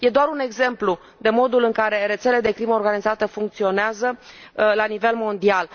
Este doar un exemplu de modul în care rețele de crimă organizată funcționează la nivel mondial.